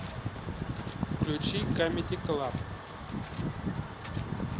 включи камеди клаб